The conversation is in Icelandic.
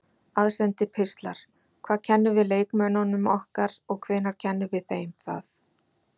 Aðsendir pistlar Hvað kennum við leikmönnunum okkar og hvenær kennum við þeim það?